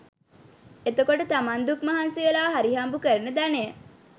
එතකොට තමන් දුක් මහන්සි වෙලා හරි හම්බු කරන ධනය